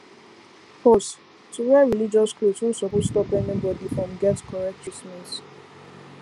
pause to wear religious cloth no suppose stop anybody from get correct treatment